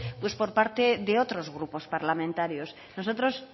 por parte de otros grupos parlamentarios nosotros